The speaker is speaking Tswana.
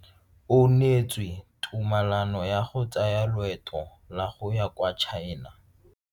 O neetswe tumalano ya go tsaya loeto la go ya kwa China.